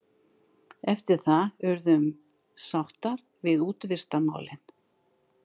Eftir það urðum sáttar við útivistarmálin.